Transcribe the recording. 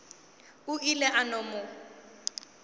o ile a no mo